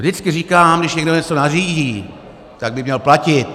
Vždycky říkám, když někdo něco nařídí, tak by měl platit.